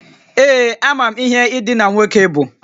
Ee. Amam ihe idina nwoke bu